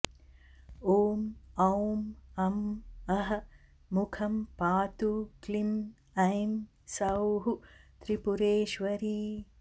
ॐ औं अं अः मुखं पातु क्लीं ऐं सौः त्रिपुरेश्वरी